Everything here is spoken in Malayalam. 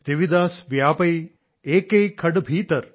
രവിദാസ് വ്യാപൈ ഏകൈ ഘട് ബീതർ